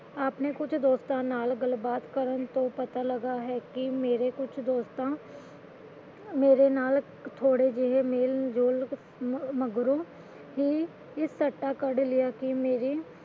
ਆਪਣੇ ਕੁਝ ਦੋਸਤਾਂ ਨਾਲ ਗੱਲ ਬਾਤ ਕਰਨ ਪਤਾ ਲਗਾ ਹੈ ਕਿ ਮੇਰੇ ਕੁਝ ਦੋਸਤ ਮੇਰੇ ਨਾਲ ਥੋੜੇ ਜਿਹੇ ਮੇਲ ਜੋਲ ਮਗਰੋਂ ਹੀ ਇਹ ਸਿੱਟਾ ਕੱਢ ਲਿਆ ਸੀ ਕਿ ਮੇਰੀ